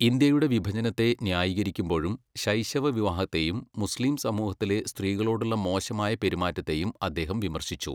ഇന്ത്യയുടെ വിഭജനത്തെ ന്യായീകരിക്കുമ്പോഴും ശൈശവ വിവാഹത്തെയും മുസ്ലീം സമൂഹത്തിലെ സ്ത്രീകളോടുള്ള മോശമായ പെരുമാറ്റത്തെയും അദ്ദേഹം വിമർശിച്ചു.